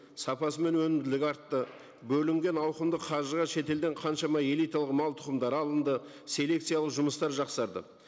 сапасы мен өнімділігі артты бөлінген ауқымды қаржыға шетелден қаншама элиталық мал тұқымдары алынды селекциялық жұмыстар жақсарды